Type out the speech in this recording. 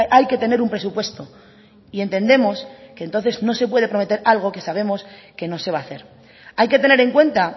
hay que tener un presupuesto y entendemos que entonces no se puede prometer algo que sabemos que no se va a hacer hay que tener en cuenta